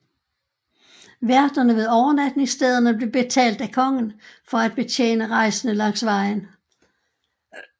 Værterne ved overnatningsstederne blev betalt af kongen for at betjene rejsende langs vejen